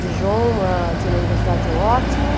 Dijon ah, tinha uma universidade ótima.